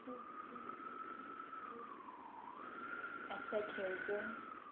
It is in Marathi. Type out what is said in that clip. असं खेळतो